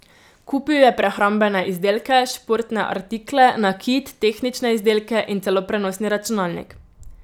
Kupil je prehrambene izdelke, športne artikle, nakit, tehnične izdelke in celo prenosni računalnik.